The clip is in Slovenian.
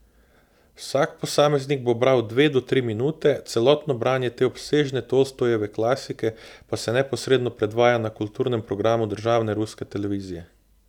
Vsak posameznik bo bral dve do tri minute, celotno branje te obsežne Tolstojeve klasike pa se neposredno predvaja na kulturnem programu državne ruske televizije.